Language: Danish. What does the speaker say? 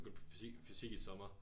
Begyndte på fysik fysik i sommer